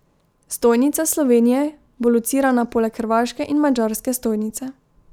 Stojnica Slovenije bo locirana poleg hrvaške in madžarske stojnice.